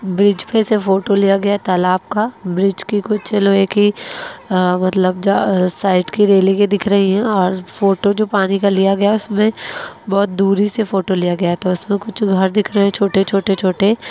bridge पे से photo लिए गया है तालाब का ब्रिज की कुछ लोहे कि आ मतलब जा साईड की रेलिंगे दिख रही हैं और फोटो जो पानी का लिया गया है उसमे बहुत दूरी से फोटो लिया गया है तो इसमे कुछ घर दिख रहे हैं छोटे-छोटे-छोटे --